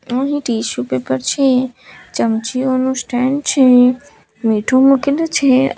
અહીં tissue paper છે ચમચીઓનું સ્ટેન્ડ છે મીઠું મૂકેલું છે.